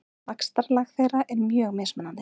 Vaxtarlag þeirra er mjög mismunandi.